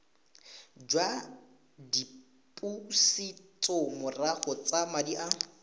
jwa dipusetsomorago tsa madi a